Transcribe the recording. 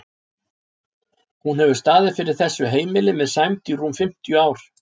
Hún hefur staðið fyrir þessu heimili með sæmd í rúm fimmtíu ár.